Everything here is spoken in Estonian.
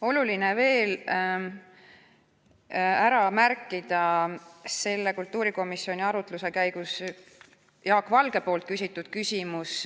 Oluline on veel ära märkida selle kultuurikomisjoni arutluse käigus Jaak Valge küsitud küsimus.